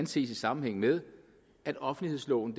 ses i sammenhæng med at offentlighedsloven